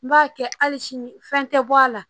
N b'a kɛ hali sini fɛn tɛ bɔ a la